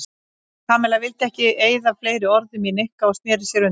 Kamilla vildi ekki eyða fleiri orðum í Nikka og snéri sér undan.